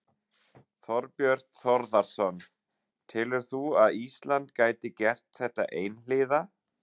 Þorbjörn Þórðarson: Telurðu að Ísland gæti gert þetta einhliða?